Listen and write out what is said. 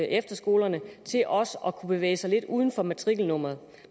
efterskolerne til også at kunne bevæge sig lidt uden for matrikelnummeret